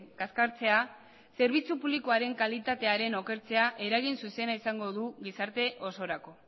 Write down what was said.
kaskartzea zerbitzu publikoaren kalitatearen okertzea eragin zuzena izango du gizarte osorako